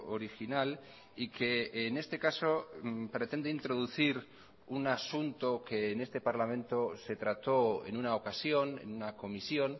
original y que en este caso pretende introducir un asunto que en este parlamento se trató en una ocasión en una comisión